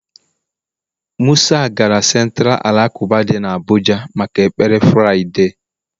musa gara Centira alakụba dị n'Abuja maka ekpere Fraịde.